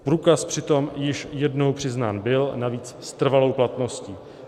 Průkaz přitom již jednou přiznán byl, navíc s trvalou platností.